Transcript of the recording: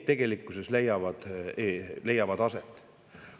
Tegelikkuses need leiavad aset.